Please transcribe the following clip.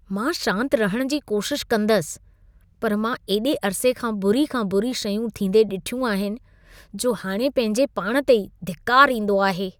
मां शांत रहण जी कोशिश कंदसि, पर मां एॾे अरिसे खां बुरी खां बुरी शयूं थींदे ॾिठियूं आहिनि, जो हाणे पंहिंजे पाण ते ई धिकार ईंदो आहे।